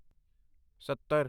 ਸੱਤਰ